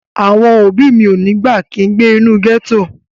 Àwọn òbí mi ò ní gbà kin gbé inú gẹ́tò